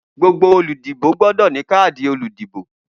Gbogbo oludibo gbọdọ ni kaadi oludibo.